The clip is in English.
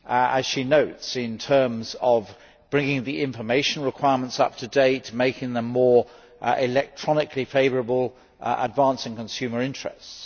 as she notes, in terms of bringing the information requirements up to date, making them more electronically favourable and advancing consumer interests.